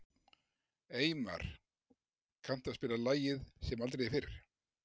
Eymar, kanntu að spila lagið „Sem aldrei fyrr“?